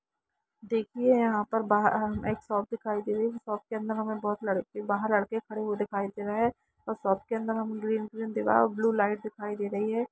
देखिए यहा पर बहार एक शॉप दिखाई दे रही हैशॉप के अंदर बहु लड़के बहार लड़के खड़े दिखाई दे रहे है ओर शॉप के अंदर ग्रीन-ग्रीन दीवाल और ब्लू लाइट दिखाई दे रही है।